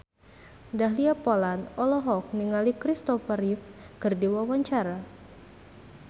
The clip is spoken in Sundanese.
Dahlia Poland olohok ningali Christopher Reeve keur diwawancara